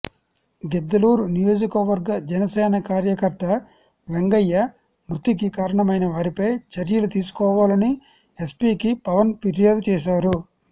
గిద్దలూరు నియోజకవర్గ జనసేన కార్యకర్త వెంగయ్య మృతికి కారణమైన వారిపై చర్యలు తీసుకోవాలని ఎస్పీకి పవన్ ఫిర్యాదు చేశారు